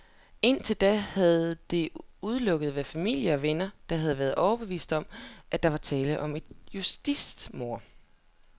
Indtil da havde det udelukkende været familie og venner, der havde været overbeviste om, at der var tale om et justitsmord.